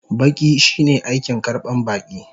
Baƙi shine aikin karban baƙi.